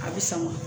A bɛ sama